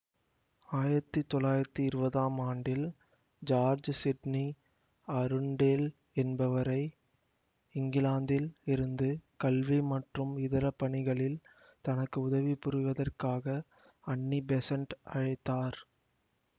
ஆயிரத்தி தொள்ளாயிரத்தி இருவதாம் ஆண்டில் ஜார்ஜ் சிட்னி அருண்டேல் என்பவரை இங்கிலாந்தில் இருந்து கல்வி மற்றும் இதர பணிகளில் தனக்கு உதவி புரிவதற்காக அன்னி பெஸண்ட் அழைத்தார்